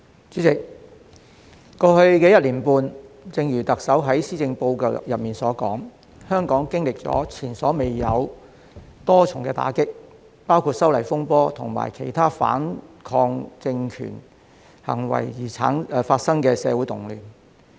主席，過去一年半，正如特首在施政報告中所說，香港經歷了前所未有的多重打擊，包括修例風波及其他反抗政權行為而發生的社會動亂。